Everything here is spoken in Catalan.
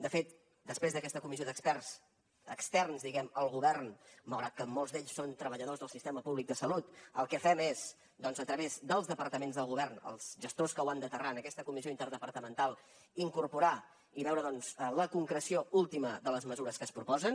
de fet després d’aquesta comissió d’experts externs diguem ne al govern malgrat que molts d’ells són treballadors del sistema públic de salut el que fem és doncs a través dels departaments del govern dels gestors que ho han d’aterrar en aquesta comissió interdepartamental incorporar i veure la concreció última de les mesures que es proposen